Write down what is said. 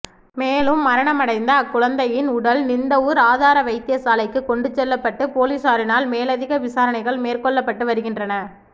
மேலும் மரணமடைந்த அக்குழந்தையின் உடல் நிந்தவூர் ஆதாரவைத்திய சாலைக்கு கொண்டு செல்லப்பட்டு பொலிசாரினால் மேலதிக விசாரணைகள் மேற்கொள்ளப்பட்டுவருகின்றன